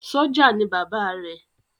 Sọ́jà ni Bàbá rẹ